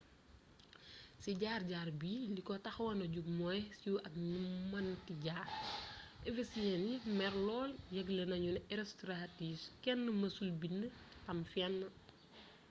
ci jaar jaar bi li ko taxon na jóg mooy siiw aak ni mu mënte jar ephesyen yi mer lool yëgle nanu ne herostratus kenn mësul bnd tam fenn